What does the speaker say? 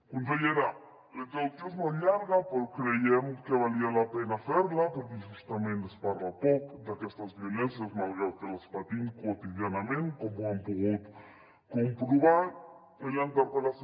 consellera la introducció és molt llarga però creiem que valia la pena fer la perquè justament es parla poc d’aquestes violències malgrat que les patim quotidianament com hem pogut comprovar en la interpel·lació